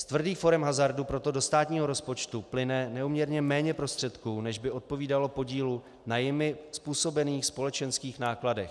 Z tvrdých forem hazardu proto do státního rozpočtu plyne neúměrně méně prostředků, než by odpovídalo podílu na jimi způsobených společenských nákladech.